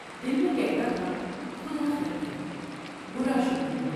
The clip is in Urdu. دل میں کہتا تھا خدا خیر کرے براشگون ہے ۔